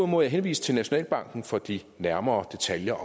må jeg henvise til nationalbanken for de nærmere detaljer